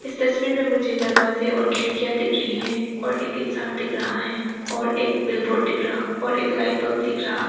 इस तस्वीर में मुझे दरवाजे और खिड़कियां दिख रही है और एक इंसान दिख रहा है और एक बिलबोर्ड दिख रहा और एक लाइट बल्ब दिख रहा।